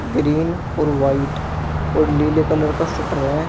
Green और white और नीले कलर का शटर है।